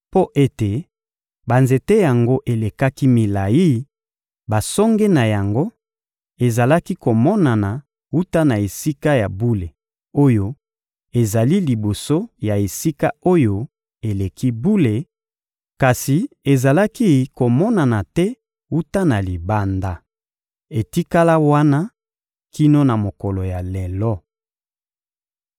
Mpo ete banzete yango elekaki milayi, basonge na yango ezalaki komonana wuta na Esika ya bule oyo ezali liboso ya Esika-Oyo-Eleki-Bule, kasi ezalaki komonana te wuta na libanda. Etikala wana kino na mokolo ya lelo.